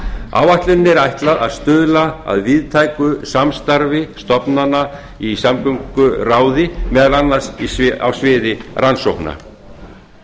áætluninni er ætlað að stuðla að víðtæku samstarfi stofnana í samgönguráði meðal annars á sviði rannsókna